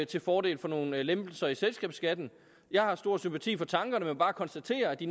til fordel for nogle lempelser i selskabsskatten jeg har stor sympati for tankerne men vil bare konstatere at de